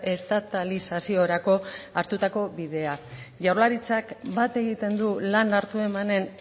estatalizaziorako hartutako bidea jaurlaritzak bat egiten du lan hartu emanen